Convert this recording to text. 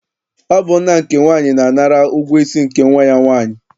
Ọ bụ nna nke nwaanyị na-anara ụgwọ isi nke nnwa ya nwaanyị.